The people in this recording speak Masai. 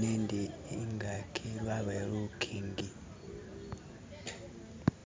nendi ingaki wabayo lukingi